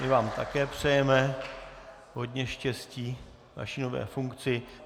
My vám také přejeme hodně štěstí ve vaší nové funkci.